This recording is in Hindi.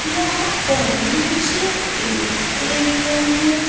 यहां पर मुझे एक एरिया नजर--